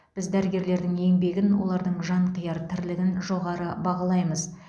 біз дәрігерлердің еңбегін олардың жанқияр тірлігін жоғары бағалаймыз